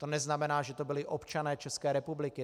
To neznamená, že to byli občané České republiky.